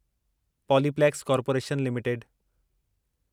Polyplex corporation limited